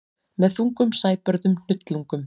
Með þungum sæbörðum hnullungum.